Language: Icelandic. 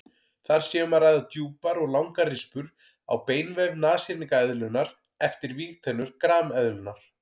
Þar sé um að ræða djúpar og langar rispur á beinvef nashyrningseðlunnar eftir vígtennur grameðlunnar.